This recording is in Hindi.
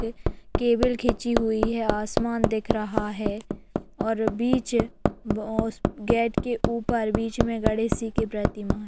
केबल खीची हुई है। आसमान दिख रहा है और बीच मोस गेट के ऊपर बीच में गणेश जी प्रतिमा है।